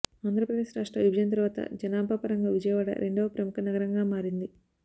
ఆంధ్రప్రదేశ్ రాష్ట్ర విభజన తరువాత జనాభా పరంగా విజయవాడ రెండవ ప్రముఖ నగరంగా మారింది